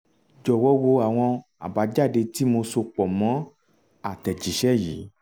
jọ̀wọ́ wo àwọn àbájáde tí mo so pọ̀ mọ́ àtẹ̀jíṣẹ́ yìí